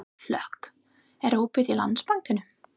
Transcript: Hlökk, er opið í Landsbankanum?